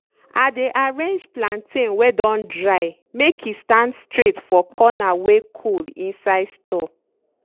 i dey arrange plantain wey don dry make e stand straight for corner wey cold inside store.